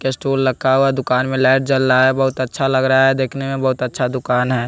Stall लक्खा हुआ है दुकान में लाइट जल रहा है बहुत अच्छा लग रहा है देखने में बहुत अच्छा दुकान है।